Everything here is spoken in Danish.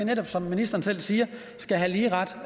netop som ministeren selv siger skal have lige ret